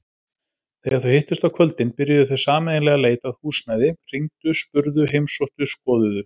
Þegar þau hittust á kvöldin byrjuðu þau sameiginlega leit að húsnæði, hringdu spurðu heimsóttu skoðuðu.